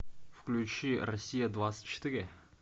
включи россия двадцать четыре